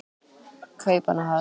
Kaupmannahöfn